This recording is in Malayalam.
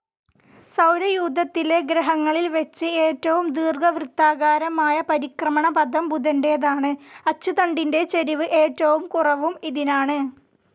സൗരയൂഥത്തിലെ ഗ്രഹങ്ങളിൽ വെച്ച് ഏറ്റവും ദീർഘവൃത്താകാരമായ പരിക്രമണപഥം ബുധൻ്റേതാണ്, അച്ചുതണ്ടിൻ്റെ ചരിവ് ഏറ്റവും കുറവും ഇതിനാണ്.